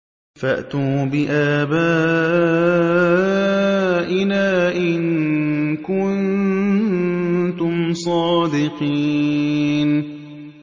فَأْتُوا بِآبَائِنَا إِن كُنتُمْ صَادِقِينَ